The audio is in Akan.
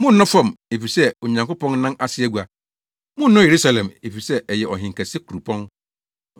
Monnnɔ fam, efisɛ ɛyɛ Onyankopɔn nan ase agua. Monnnɔ Yerusalem, efisɛ ɛyɛ ɔhenkɛse kuropɔn.